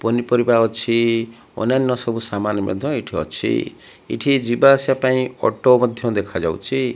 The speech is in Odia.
ପନିପରିବା ଅଛି ଅନ୍ୟାନ୍ୟ ସବୁ ସାମାନ୍ ମଧ୍ୟ ଏଠି ଅଛି ଏଠି ଯିବା ଆସିବା ପାଇଁ ଅଟୋ ମଧ୍ୟ ଦେଖା ଯାଉଛି।